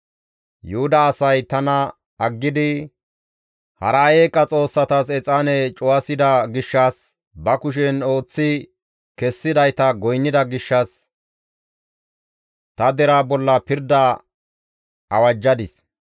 «Yuhuda asay tana aggidi, hara eeqa xoossatas exaane cuwasida gishshas, ba kushen ooththi kessidayta goynnida gishshas ta deraa bolla pirdaa awajjadis.